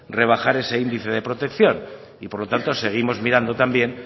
rebajar ese indicie de protección y por lo tanto seguimos mirando también